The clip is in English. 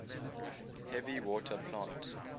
heavy water plant